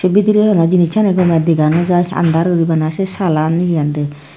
bidire tara jinisani gome dega no jaai aandar uri bana sey saalan he honde.